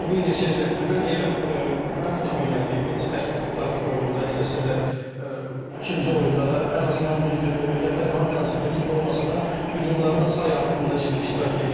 Elvin bir neçə cəhətdə mən yenə mənim xoşuma gəldi Elvin, istər Latviya oyununda, istərsə də ikinci oyunda da, ən azından düzdür, yadda qalan hər hansı bir epizod olmasa da, hücumlarda say artımında ciddi iştirak edirdi.